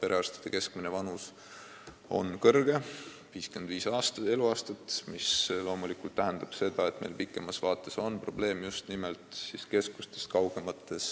Perearstide keskmine vanus on kõrge, 55 eluaastat, mis loomulikult tähendab seda, et pikemas vaates on meil probleeme just nimelt keskustest kaugemates